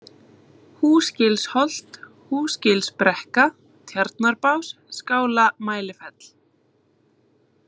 Húsgilsholt, Húsgilsbrekka, Tjarnarbás, Skála-Mælifell